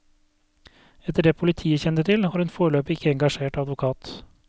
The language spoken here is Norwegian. Etter det politiet kjenner til, har hun foreløpig ikke engasjert advokat.